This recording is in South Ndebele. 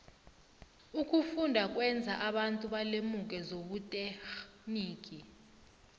ukufunda kwenza abantu balemuke zobuterhnigi